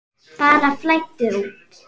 Bara flæddu út.